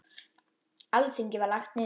Alþingi var lagt niður.